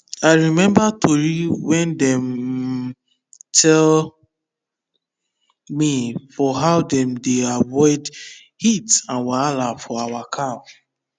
i remember tori wey dem um tell me for how dem dey avoid heat and wahala for our cow